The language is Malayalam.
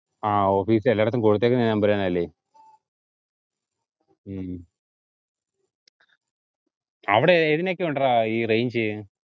ആഹ് office ത്തെ എല്ലാര്ക്കും കൊടുത്തേക്കുന്ന ഈ number thannele ഹും അവിടെ ഏതിനൊക്കെ ഉണ്ടെടാ ഈ range